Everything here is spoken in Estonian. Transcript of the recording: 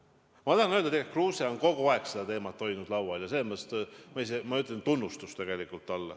Ma tahan öelda, et tegelikult on Kruuse kogu aeg seda teemat laual hoidnud ja selles mõttes ma tegelikult tunnustan teda.